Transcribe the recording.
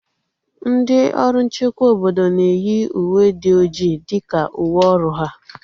Ndị ọrụ nchekwa obodo na-eyi uwe dị ọjị dịka uwe ọrụ ha